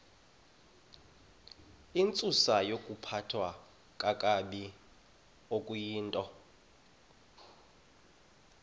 intsusayokuphathwa kakabi okuyintoni